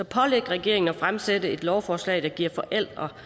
pålægge regeringen at fremsætte et lovforslag der giver forældre